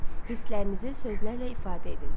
Hisslərinizi sözlərlə ifadə edin.